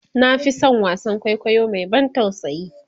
na Fi San wasaan kwaikwayo Mai ban tausayi